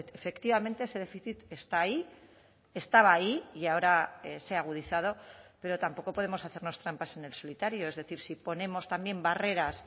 efectivamente ese déficit está ahí estaba ahí y ahora se ha agudizado pero tampoco podemos hacernos trampas en el solitario es decir si ponemos también barreras